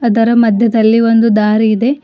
ಅದರ ಮಧ್ಯದಲ್ಲಿ ಒಂದು ದಾರಿ ಇದೆ.